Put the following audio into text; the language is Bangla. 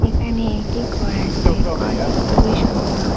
এখানে একটি ঘর আছে ঘরটি খুবই সুন্দর।